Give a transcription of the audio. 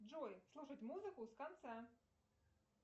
джой слушать музыку с конца